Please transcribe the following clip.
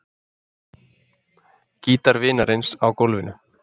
Gítar vinarins á gólfinu.